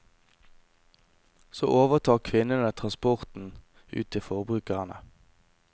Så overtar kvinnene transporten ut til forbrukerne.